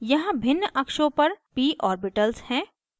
यहाँ भिन्न अक्षों पर p ओर्बिटल्स हैं